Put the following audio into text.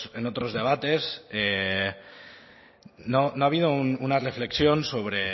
en otros debates no ha habido una reflexión sobre